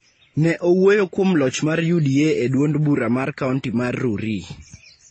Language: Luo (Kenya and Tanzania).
Ne owuoyo kuom loch mar UDA e dwond bura mar kaonti mar Rurii